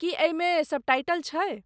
की एहिमे सबटाइटल छै?